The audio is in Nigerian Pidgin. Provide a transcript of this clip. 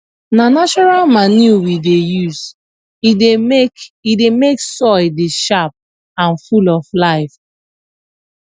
na natural manure we dey use e dey make e dey make soil dey sharp and full of life